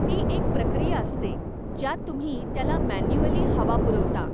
ती एक प्रक्रिया असते ज्यात तुम्ही त्याला मॅन्युअली हवा पुरवता.